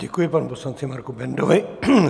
Děkuji panu poslanci Marku Bendovi.